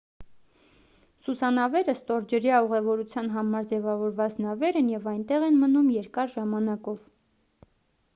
սուզանավերը ստորջրյա ուղևորության համար ձևավորված նավեր են և այնտեղ են մնում երկար ժամանակով